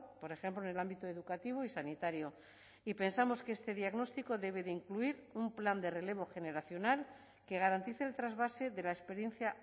por ejemplo en el ámbito educativo y sanitario y pensamos que este diagnóstico debe de incluir un plan de relevo generacional que garantice el trasvase de la experiencia